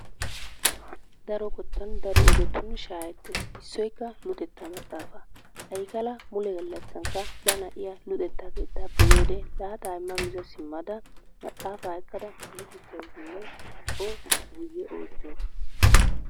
Daro qottan daro ogetun shaahetees. Issoykka luxetta maxaafa, Aykkala mule gallassankka ba naa'iyaa luxetta keettappe yiyyoode laaxa imma miza simmada maxaafa ekkada luxissawussinne O guyyee oychchawusu.